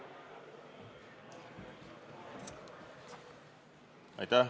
Palun!